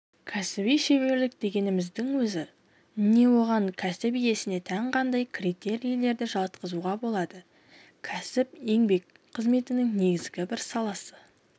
кәсіби шеберлік дегеніміздің өзі не оған кәсіп иесіне тән қандай критерийлерді жатқызуға болады кәсіп-еңбек қызметінің негізгі бір саласы